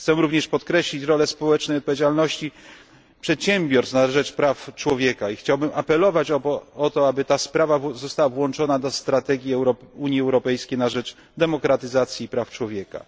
Chcę również podkreślić rolę społecznej odpowiedzialności przedsiębiorstw na rzecz praw człowieka i chciałbym apelować o to, aby ta sprawa została włączona do strategii Unii Europejskiej na rzecz demokratyzacji i praw człowieka.